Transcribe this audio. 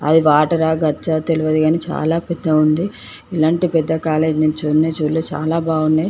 అది వాటర్ ఆ గచ్చా తెలవదు గని చాలా పెద్దగా ఉంది. ఇలాంటి పెద్ద కాలేజీ లు చూడనే చూడలేదు చాలా బాగున్నాయి.